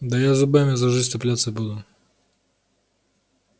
да я зубами за жизнь цепляться буду